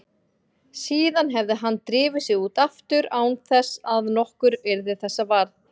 Síðan hefði hann drifið sig út aftur án þess að nokkur yrði þessa var.